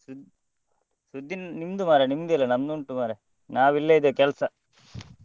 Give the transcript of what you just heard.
ಸುದ್ ಸುದ್ದಿ ನಿಮ್ದು ಮರ್ರೆನಿಮ್ದೆಲ್ಲ ಮರ್ರೆ ನಮ್ದು ಉಂಟ್ ಮರ್ರೆ ನಾವೆಲ್ಲ ಇಲ್ಲೇ ಇದ್ದೇವೆ ಕೆಲ್ಸ .